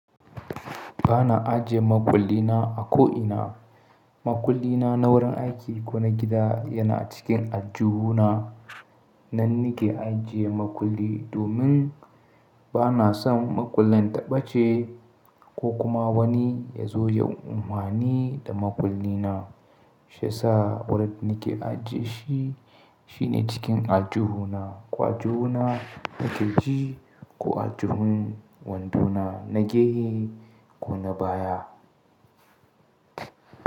Ba na ajiye makulli na a ko'ina. Makulli na na wurin aiki ko na gida yana cikin ajju na. Nan nake ajiye makulli domin ba na son makullin ta ɓace ko kuma wani ya zo ya umami da makulli na. Shiyasa wurin nake ajie shi shine cikin ajju na, kwa ajju na keji ko ajjun wanduna na gehe ko na baya.